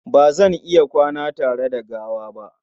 Ba zan iya kwana tare da gawa ba.